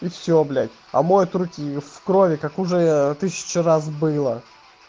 и всё блядь а мой от руки в крови как уже тысячу раз было